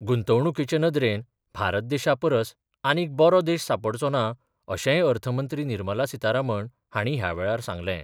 गुंतवणुकीचे नदरेन भारत देशा परस आनीक बरो देश सांपडचो ना अशेंय अर्थ मंत्री निर्मला सीतारामन हांणी ह्या वेळार सांगलें.